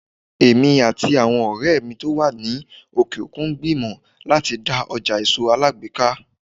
Èmi àti àwọn ọ̀rẹ́ mi tó wà ní òkè òkun ń gbìmọ̀ láti dá ọjà èso alágbèéká.